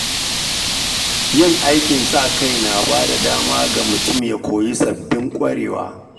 Yin aikin sa-kai yana ba da dama ga mutum ya koyi sabbin ƙwarewa.